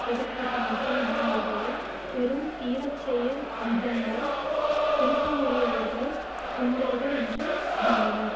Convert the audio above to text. பொது கூட்டமைப்பும் மாணவர்களை வெறும் தீரச்செயல் நிகழ்ந்த விரும்பமுடையவர்கள் குண்டர்கள் என்று இகழ்ந்தனர்